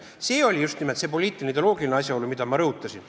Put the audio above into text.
See oli just nimelt see poliitiline, ideoloogiline asjaolu, mida ma rõhutasin.